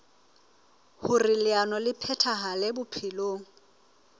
hoer leano le phethahale bophelong